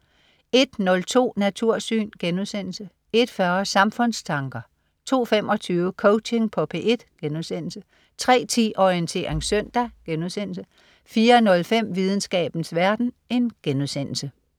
01.02 Natursyn* 01.40 Samfundstanker 02.25 Coaching på P1* 03.10 Orientering søndag* 04.05 Videnskabens verden*